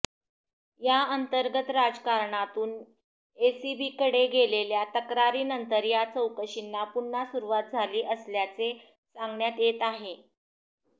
या अंतर्गत राजकारणातून एसीबीकडे गेलेल्या तक्रारींनंतर या चौकशींना पुन्हा सुरवात झाली असल्याचे सांगण्यात येत आहे